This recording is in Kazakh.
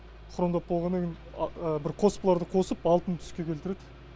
хромдап болғаннан кейін бір қоспаларды қосып алтын түске келтіреді